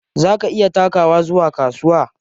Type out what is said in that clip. Za ki iya takawa zuwa kasuwa?